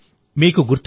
మిత్రులారా